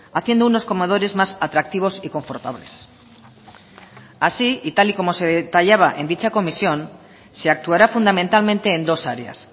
haciendo unos comedores más atractivos y confortables así y tal y como se detallaba en dicha comisión se actuará fundamentalmente en dos áreas